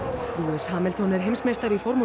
lewis Hamilton er heimsmeistari í formúlu